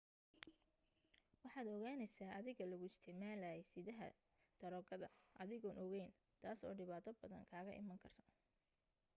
waxaad ogaaneysa adiga laguu isticmaaley sidaha daroogada adigoon ogeyn taas oo dhibaato badan kaga iman karto